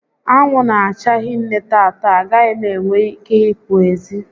Anwụ n'acha hinne tata, a gaghị m enwe ike i pụ ezi